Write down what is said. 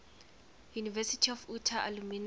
university of utah alumni